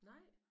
Nej